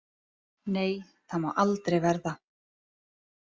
Nei, það má aldrei verða.